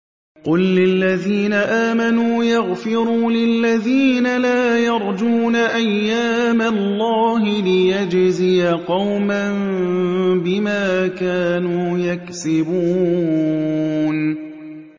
قُل لِّلَّذِينَ آمَنُوا يَغْفِرُوا لِلَّذِينَ لَا يَرْجُونَ أَيَّامَ اللَّهِ لِيَجْزِيَ قَوْمًا بِمَا كَانُوا يَكْسِبُونَ